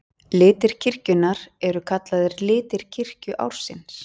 Litir kirkjunnar eru kallaðir litir kirkjuársins.